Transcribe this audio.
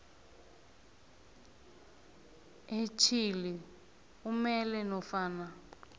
etjhili umele nofana